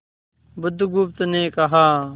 बुधगुप्त ने कहा